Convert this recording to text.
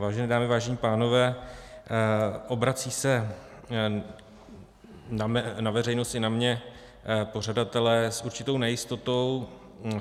Vážené dámy, vážení pánové, obrací se na veřejnost i na mě pořadatelé s určitou nejistotou.